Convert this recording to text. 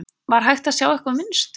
Var hægt að sjá eitthvað mynstur?